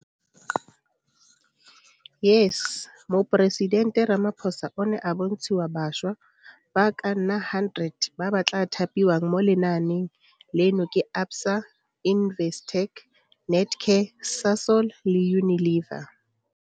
YES Moporesitente Ramaphosa o ne a bontshiwa bašwa ba ka nna 100 ba ba tla thapiwang mo lenaaneng leno ke ABSA, Investec, Netcare, Sasol le Unilever.